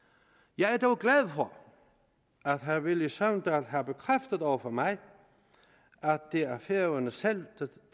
jeg er dog glad for at herre villy søvndal har bekræftet over for mig at det er færøerne selv der